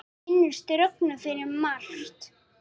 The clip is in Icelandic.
Ég minnist Rögnu fyrir margt.